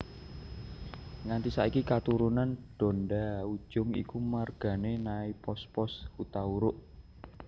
Nganti saiki katurunan Donda Ujung iku margané Naipospos Hutauruk